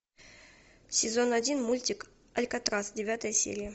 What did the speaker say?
сезон один мультик алькатрас девятая серия